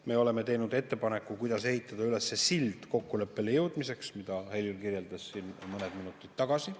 Me oleme teinud ettepaneku, kuidas ehitada üles sild kokkuleppele jõudmiseks, mida Helir kirjeldas siin mõned minutid tagasi.